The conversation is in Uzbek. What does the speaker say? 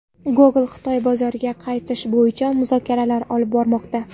Google Xitoy bozoriga qaytish bo‘yicha muzokaralar olib bormoqda.